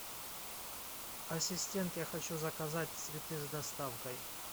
ассистент я хочу заказать цветы с доставкой